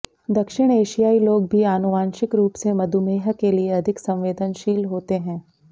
दक्षिण एशियाई लोग भी आनुवंशिक रूप से मधुमेह के लिए अधिक संवेदनशील होते हैं